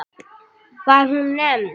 Var hún nefnd